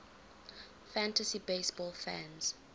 fantasy baseball fans